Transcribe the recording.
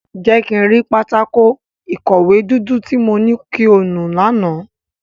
Jẹ ki n ri pátákó-ikọwe dudu ti mo ni ki o nu làná!